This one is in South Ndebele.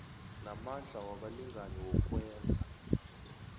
namandla wabalingani wokwenza